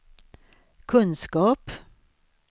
kunskap